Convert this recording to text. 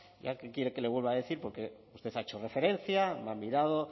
ya qué quiere que le vuelva a decir porque usted ha hecho referencia me ha mirado